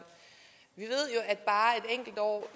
et enkelt år